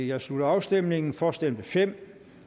jeg slutter afstemningen for stemte fem